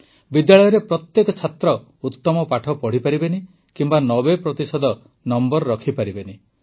ବିଦ୍ୟାଳୟରେ ପ୍ରତ୍ୟେକ ଛାତ୍ର ଉତ୍ତମ ପାଠ ପଢ଼ିପାରିବେନି କିମ୍ବା ୯୦ ପ୍ରତିଶତ ମାର୍କ ରଖିପାରିବେନି